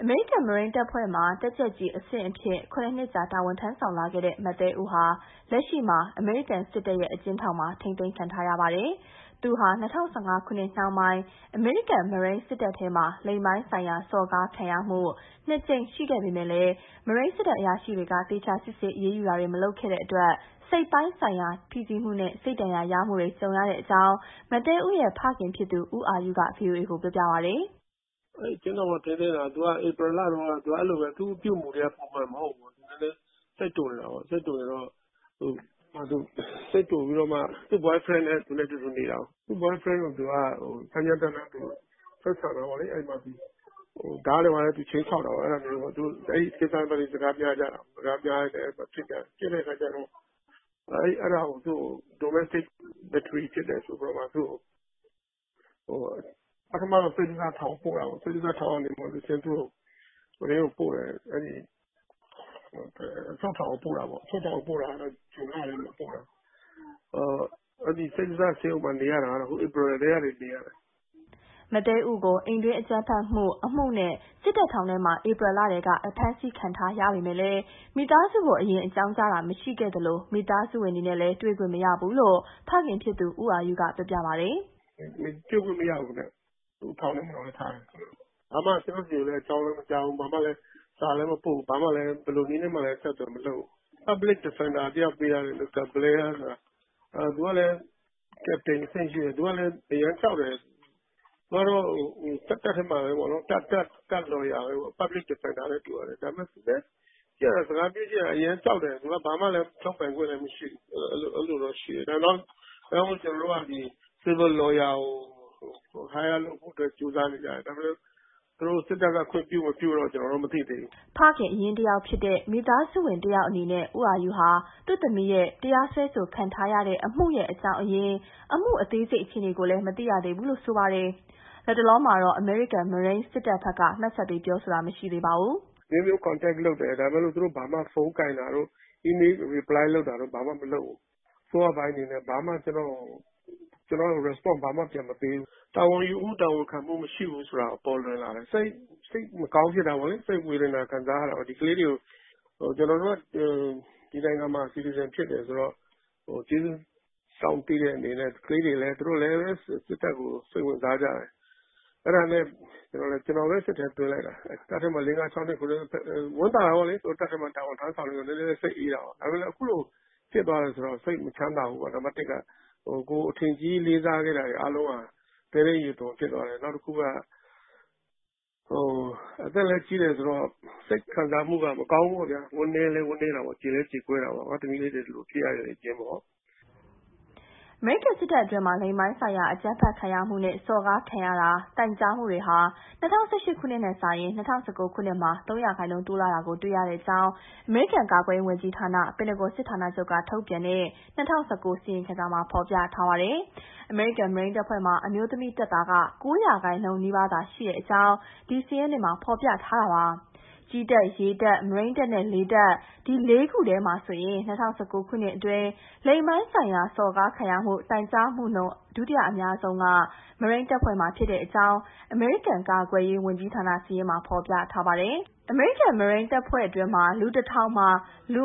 အမေရိကန် မရိမ်းတပ်ဖွဲ့မှာ တပ်ကြပ်အဆင့်အဖြစ် ၇ နှစ်ကြာ တာဝန်ထမ်းဆောင်လာခဲ့တဲ့ မသဲဥဟာ လက်ရှိမှာ အမေရိကန်စစ်တပ်ရဲ့ အကျဉ်းထောင်မှာ ထိန်းသိမ်းခံထားရပါတယ်။ မသဲဥဟာ ၂၀၁၅ ခုနှစ်နှောင်းပိုင်း အမေရိကန် မရိမ်းစစ်တပ်ထဲမှာ လိင်ပိုင်းဆိုင်ရာ စော်ကားခံရမှု ၂ ကြိမ်ရှိခဲ့ပေမဲ့ မရိမ်းစစ်တပ် အရာရှိတွေက သေချာစစ်ဆေး အရေးယူမှု မလုပ်ခဲ့တဲ့အတွက် စိတ်ပိုင်းဆိုင်ရာ ဖိစီးမှုနဲ့ စိတ်ဒဏ်ရာရမှုတွေ ကြုံရကြောင်း သဲဥရဲ့ ဖခင်ဖြစ်သူ ဦးအာယုက ဗွီအိုအေကို ပြောပြပါတယ်။ မအိသန့်စင်က တင်ပြထားပါတယ်။ “အဲဒီအကျဉ်းထောင်မှာ ထိန်းသိမ်းတာ ဧပြီလတုန်းက၊ အဲဒီလိုပဲ သူက သူ့အပြုအမူတွေက ပုံမှန်မဟုတ်ဘူး၊ နည်းနည်း စိတ်တိုနေတာပေါ့။ သူက သူ့ Boyfriend နဲ့ အတူတူနေတာ၊ သူ့ Boyfriend ကို သူက စိတ်တိုပြီး ကြမ်းကြမ်းတမ်းတမ်း ဆက်ဆံတာပေါ့၊ ဓားတွေ ဘာတွေနဲ့ ခြိမ်းခြောက်တာ။ အဲဒီကိစ္စနဲ့ ပတ်သက်ပြီး စကားများကြတာ။ အဲဒါကို သူ့ကို အိမ်တွင်းအကြမ်းဖက်မှု ဖြစ်တယ်ဆိုပြီး ပထမတော့ သူ့ကို စိတ္တဇထောင်ကို ပို့တာပေါ့။ စိတ္တဇထောင်ကတဆင့် သူ့ကို အချုပ်ထောင်ကို ပို့တာပေါ့။ အချုပ်ထောင်ကို ပို့တာတော့ ဇွန်လထဲမှာ ပို့တာ။ စိတ္တဇဆေးရုံမှာ နေရတာတော့ ဧပြီကတည်းက နေရတာ။” မသဲဥကို အိမ်တွင်းအကြမ်းဖက်မှု အမှုနဲ့ စစ်တပ်ထောင်ထဲမှာ ဧပြီလတည်းက အဖမ်းခံထားရပေမဲ့ မိသားစုကို အကြောင်းကြားတာ မရှိခဲ့သလို မိသားစုနဲ့လည်း တွေ့ခွင့်မရဘူးလို့ ဦးအာယုက ပြောပါတယ်။ “တွေ့ခွင့်မရဘူး၊ ထောင်ထဲမှာပဲ ထားတယ်။ ကျနော့်ဆီကို အကြောင်းလည်း မကြားဘူး၊ စာလည်းမပို့ဘူး၊ ဘယ်လိုနည်းနဲ့မှလည်း အဆက်အသွယ် မလုပ်ဘူး။ Public Defender တယောက်ပေးထားတယ်၊ မစ္စတာ ဘလဲယား ဆိုတာ။ သူက Captain အဆင့်ရှိတယ်။ သူကလည်း အရမ်းကြောက်တယ်။ သူက စစ်တပ်ထဲမှာ တပ် Lawyer ပဲ၊ Public Defender နဲ့တူပါတယ်။ ဒါပေမယ့် စကားပြောကြည့်ရတာ အရမ်းကြောက်တယ်။ ဘာမှလည်း ထွက်ပိုင်ခွင့်လည်း မရှိဘူး။ ဒါကြောင့် ကျနော်တို့က Civil Lawyer ကို ငှားဖို့ ကြိုးစားနေကြတယ်။ ဒါပေမဲ့ စစ်တပ်က ခွင့်ပြု မပြုတော့ ကျနော်တို့ မသိသေးဘူး။” ဖခင်အရင်းတယောက်ဖြစ်တဲ့၊ မိသားစုဝင်တယောက်ဖြစ်တဲ့ ဦးအာယုဟာ သူ့သမီး တရားစွဲခံထားရတဲ့ အမှုရဲ့ အကြောင်းအရင်း၊ အမှုအသေးစိတ် အခြေအနေကိုလည်း မသိရသေးဘူးလို့ ဆိုပါတယ်။ လတ်တလောမှာတော့ အမေရိကန် မရိမ်းစစ်တပ်ဘက်က မှတ်ချက်ပေး ပြောဆိုတာ မရှိသေးပါဘူး။ “အမျိုးမျိုး ဆက်သွယ်တယ်၊ ဒါပေမယ့် သူတို့ ဖုန်းကိုင်တာတို့၊ အီးမေးလ်ပြန်တာတို့ ဘာမှမလုပ်ဘူး။ အစိုးရပိုင်းအနေနဲ့ ကျနော့်ကို ဘာမှ Response ဘာမှပြန်မပေးဘူး။ တာဝန်ယူမှု တာဝန်ခံမှု မရှိဘူးဆိုတာ ပေါ်လွင်လာတယ်။ စိတ်မကောင်းဖြစ်တာပေါ့၊ စိတ်ဝေဒနာ ခံစားရတာပေါ့။ ကျနော်တို့က ဒီနိုင်ငံမှာ နိုင်ငံသားဖြစ်တယ်ဆိုတော့ ကျေးဇူးစောင့်သိတဲ့ အနေနဲ့ ကလေးတွေလည်း စစ်တပ်ကို စိတ်ဝင်စားကြတယ်။ အဲဒါနဲ့ ကျနော်ပဲ စစ်ထဲသွင်းလိုက်တာ။ တပ်ထဲမှာ လေးငါးခြောက်နှစ် ခုနှစ်နှစ်၊ ဝမ်းသာတာပေါ့လေ တပ်ထဲမှာ တာဝန်ထမ်းဆောင်တယ်ဆိုတော့ နည်းနည်းလည်း စိတ်အေးတာပေါ့။ ဒါပေမဲ့ အခုလို ဖြစ်သွားတယ်ဆိုတော့ စိတ်မချမ်းသာဘူးပေါ့ နံပါတ်တစ်က။ ကိုယ်အထင်ကြီး လေးစားခဲ့တာတွေ အားလုံးက သဲထဲရေသွန် ဖြစ်သွားတယ်။ နောက်တခုက အသက်လည်း ကြီးတယ်ဆိုတော့ စိတ်ခံစားမှု မကောင်းဘူးပေါ့ဗျာ။ ဝမ်းလည်းနည်းတယ်၊ ကြေလည်း ကြေကွဲတယ်။ ငါ့သမီးလေး ဒီလိုဖြစ်ရတယ် ဆိုပြီးတော့။” အမေရိကန်စစ်တပ်အတွင်း လိင်ပိုင်းဆိုင်ရာ အကြမ်းဖက်ခံရမှုနဲ့ စော်ကားခံရကြောင်း တိုင်ကြားမှုဟာ ၂၀၁၈ ခုနှစ်နဲ့ယှဉ်ရင် ၂၀၁၉ ခုနှစ်မှာ ၃ ရာခိုင်နှုန်း တိုးလာတာ တွေ့ရကြောင်း အမေရိကန် ကာကွယ်ရေးဝန်ကြီးဌာန ပင်တဂွန်စစ်ဌာနချုပ်က ထုတ်ပြန်တဲ့ ၂၀၁၉ အစီရင်ခံစာမှာ ဖော်ပြထားပါတယ်။ အမေရိကန် မရိမ်းတပ်ဖွဲ့မှာတော့ အမျိုးသမီးတပ်သား ၉ ရာခိုင်နှုန်းနီးပါးသာ ရှိကြောင်း အမေရိကန် ကာကွယ်ရေးဝန်ကြီးဌာနရဲ့ စာရင်းတွေမှာ ဖော်ပြထားပါတယ်။ ကြည်းတပ်၊ ရေတပ်၊ မရိမ်းတပ်နဲ့ လေတပ် ၄ ခုထဲမှာ ၂၀၁၉ ခုနှစ်အတွင်း လိင်ပိုင်းဆိုင်ရာ စော်ကားခံရမှု တိုင်ကြားမှုနှုန်းမှာ မရိမ်းတပ်ဖွဲ့မှာ တိုင်ကြားမှုက ဒုတိယအများဆုံးဖြစ်ကြောင်း အမေရိကန် ကာကွယ်ရေးဝန်ကြီးဌာန စာရင်းမှာ ဖော်ပြထားပါတယ်။ အမေရိကန် မရိမ်းတပ်ဖွဲ့မှာ လူ ၁,၀၀၀ မှာ ၅.၅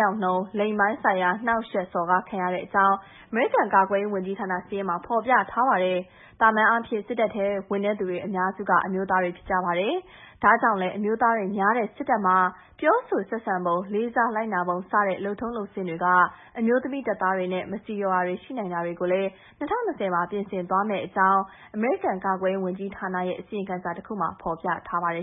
ယောက်နှုန်း လိင်ပိုင်းဆိုင်ရာ နှောင့်ယှက်စော်ကားခံရကြောင်း အမေရိကန် ကာကွယ်ရေးဝန်ကြီးဌာန စာရင်းမှာ ဖော်ပြထားပါတယ်။ သာမန်အားဖြင့် စစ်တပ်ထဲဝင်သူ အများစုဟာ အမျိုးသားတွေ ဖြစ်ကြပါတယ်။ ဒါကြောင့် အမျိုးသားတွေများတဲ့ စစ်တပ်က ပြောဆိုဆက်ဆံပုံ၊ လေးစားလိုက်နာပုံ စတဲ့ လုပ်ထုံးလုပ်စဉ်တွေက အမျိုးသမီးတပ်သားတွေအတွက် မဆီလျော်တာတွေ ရှိနိုင်တာတွေကိုလည်း ၂၀၂၀ မှာ ပြင်ဆင်သွားမယ့်အကြောင်း ဒီအစီရင်ခံစာမှာ ဖော်ပြထားပါတယ်